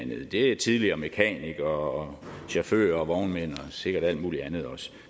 er tidligere mekanikere og chauffører og vognmænd og sikkert alt mulig andet også